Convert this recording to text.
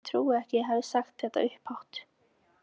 Ég trúi ekki að ég hafi sagt þetta upphátt.